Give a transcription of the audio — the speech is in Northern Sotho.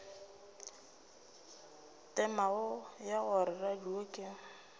temogo ya gore radio ke